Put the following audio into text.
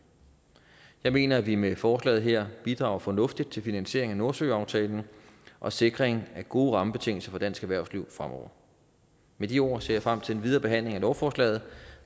jeg mener at vi med forslaget her bidrager fornuftigt til finansiering af nordsøaftalen og sikring af gode rammebetingelser for dansk erhvervsliv fremover med de ord ser jeg frem til den videre behandling af lovforslaget